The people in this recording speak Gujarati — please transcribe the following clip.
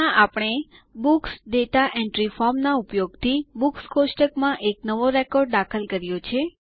ત્યાં આપણે બુક્સ દાતા એન્ટ્રી ફોર્મ ના ઉપયોગથી બુક્સ કોષ્ટક માં એક નવો રેકોર્ડ દાખલ કર્યો છે